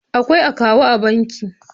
Akwai akawu a banki.